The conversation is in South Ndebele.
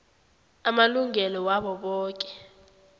amalungelo wabo boke